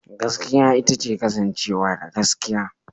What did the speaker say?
Gaskiya ita ce kasancewa da gaskiya.